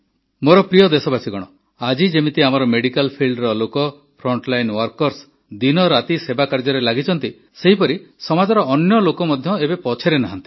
ମୋର ପ୍ରିୟ ଦେଶବାସୀଗଣ ଆଜି ଯେମିତି ଆମର ମେଡିକାଲ ଫିଲ୍ଡ ଲୋକ ଫ୍ରଣ୍ଟଲାଇନ୍ ୱର୍କର୍ସ ଦିନରାତି ସେବା କାର୍ଯ୍ୟରେ ଲାଗିଛନ୍ତି ସେହିପରି ସମାଜର ଅନ୍ୟ ଲୋକେ ମଧ୍ୟ ଏବେ ପଛରେ ନାହାନ୍ତି